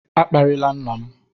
A kparịla nna m!